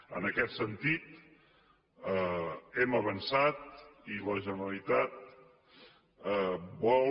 en aquest sentit hem avançat i la generalitat vol